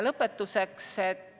Lõpetuseks.